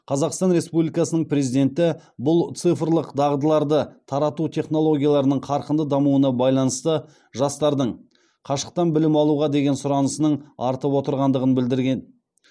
қазақстан республикасының президенті бұл цифрлық дағдыларды тарату технологияларының қарқынды дамуына байланысты жастардың қашықтан білім алуға деген сұранысының артып отырғандығын білдірген